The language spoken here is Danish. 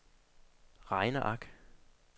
regneark